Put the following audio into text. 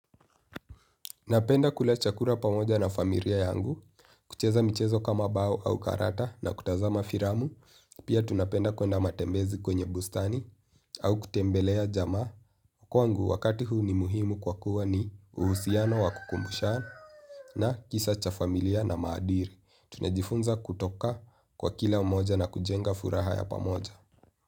Napenda kula chakura pamoja na famiria yangu, kucheza michezo kama bao au karata na kutazama firamu, pia tunapenda kwenda matembezi kwenye bustani au kutembelea jamaa. Kwangu wakati huu ni muhimu kwa kuwa ni uhusiano wa kukumbushana kisa cha familia na maadiri. Tunajifunza kutoka kwa kila mmoja na kujenga furaha ya pamoja.